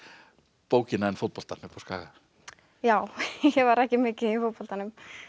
bókina en fótboltann uppi á Skaga já ég var ekki mikið í fótboltanum